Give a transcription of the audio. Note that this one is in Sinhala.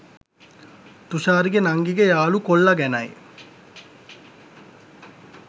තුෂාරිගෙ නංගිගෙ යාළු කොල්ලා ගැනයි